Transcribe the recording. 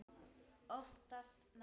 Oftast nær